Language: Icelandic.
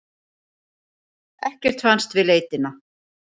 Ekkert fannst við leitina.